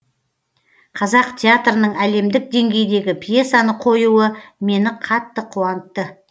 қазақ театрының әлемдік деңгейдегі пьесаны қоюы мені қатты қуантты